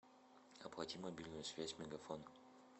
оплати мобильную связь мегафон